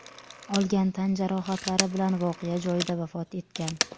olgan tan jarohatlari bilan voqea joyida vafot etgan.